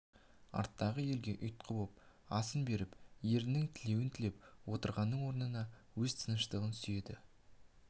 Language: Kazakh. арттағы елге ұйтқы боп асын беріп ерінің тілеуін тілетіп отырғанның орнына өз тыныштығын сүйеді